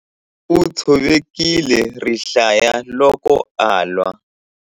U tshovekile rihlaya loko a lwa.